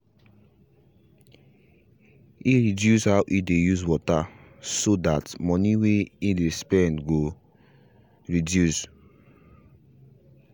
he reduce how he dey use water so tht moni way he spend go reduce